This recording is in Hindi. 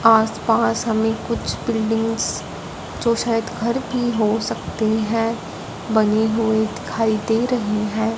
आसपास हमें कुछ बिल्डिंग्स जो शायद घर की हो सकते है बनी हुई दिखाई दे रही है।